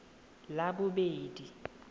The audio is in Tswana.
labobedi